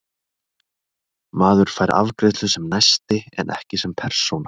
Maður fær afgreiðslu sem næsti en ekki sem persóna.